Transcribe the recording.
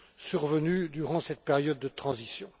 survenus durant cette période de transition.